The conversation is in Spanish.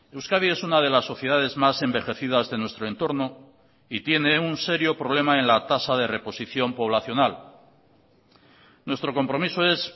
euskadi es una de las sociedades más envejecidas de nuestro entorno y tiene un serio problema en la tasa de reposición poblacional nuestro compromiso es